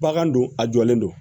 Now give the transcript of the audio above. Bagan don a jɔlen don